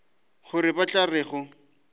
gore ba tla re go